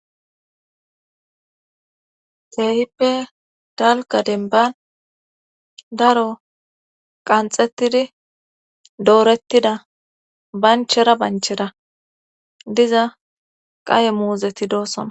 Keehippe dalka demban daro qanxettidi doorettida banchera banchera diza qaye muuzeti doossona.